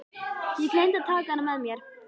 Ég gleymdi að taka hana með mér.